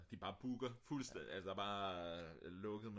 de bare booker fuldstændig altså der er bare lukket